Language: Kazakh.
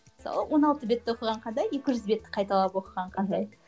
мысалы он алты бетті оқыған қандай екі жүз бетті қайталап оқыған қандай